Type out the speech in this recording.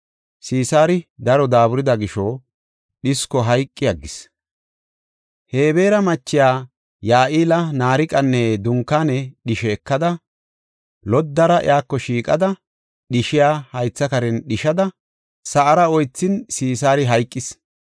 Sisaari daro daaburida gisho dhisko hayqi aggis. Hebeera machiya Ya7eela naariqanne dunkaane dhishe ekada, loddara iyako shiiqada dhishiya haytha karen dhishada, sa7ara oythin Sisaari hayqis.